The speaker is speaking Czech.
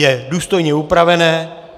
Je důstojně upravené.